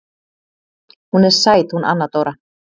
Hún er sæt hún Anna Dóra.